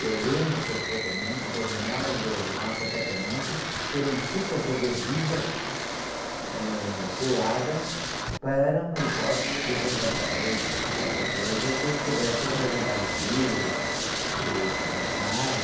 Eu lembro perfeitamente das janelas da, do nosso apartamento terem fitas adesivas, eh, coladas para uma hipótese de bombardeio ou de qualquer coisa que pudessem rebentar os vidros, ãh, estilhaçar.